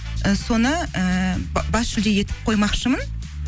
і соны ііі бас жүлде етіп қоймақшымын